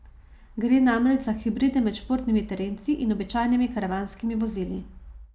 Gre namreč za hibride med športnimi terenci in običajnimi karavanskimi vozili.